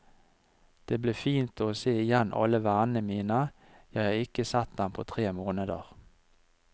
Det blir fint å se igjen alle vennene mine, jeg har ikke sett dem på tre måneder.